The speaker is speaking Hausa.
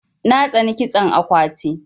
Na tsani kitson akwati.